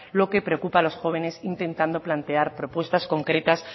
lo que preocupa a los jóvenes intentando plantear propuestas concretas